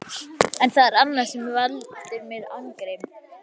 En það er annað sem veldur mér angri.